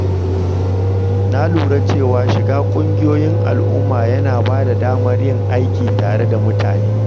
Na lura cewa shiga ƙungiyoyin al’umma yana ba da damar yin aiki tare da mutane.